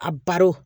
A baro